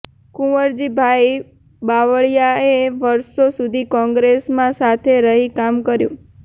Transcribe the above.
કુંવરજીભાઈ બાવળીયાએ વર્ષો સુધી કોંગ્રેસમાં સાથે રહી કામ કર્યું